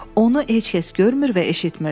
Onu heç kəs görmür və eşitMirdi.